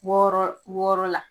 Wɔɔrɔ wɔɔrɔ la.